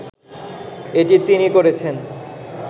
এটা তিনি করেছেন